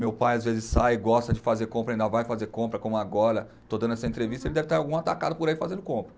Meu pai às vezes sai e gosta de fazer compra, ainda vai fazer compra, como agora, estou dando essa entrevista, ele deve estar algum atacado por aí fazendo compra.